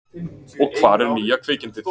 Og hvar er nýja kvikindið?